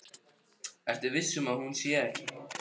Ertu viss um að hún sé ekki.